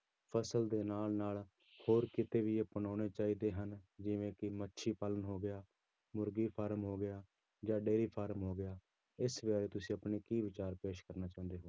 ਫ਼ਸਲ ਦੇ ਨਾਲ ਨਾਲ ਹੋਰ ਕਿੱਤੇ ਵੀ ਅਪਣਾਉਣੇ ਚਾਹੀਦੇ ਹਨ, ਜਿਵੇਂ ਕਿ ਮੱਛੀ ਪਾਲਣ ਹੋ ਗਿਆ, ਮੁਰਗੀ ਫਾਰਮ ਹੋ ਗਿਆ ਜਾਂ ਡੇਰੀ ਫਾਰਮ ਹੋ ਗਿਆ, ਇਸ ਬਾਰੇ ਤੁਸੀਂ ਆਪਣੇ ਕੀ ਵਿਚਾਰ ਪੇਸ਼ ਕਰਨਾ ਚਾਹੁੰਦੇ ਹੋ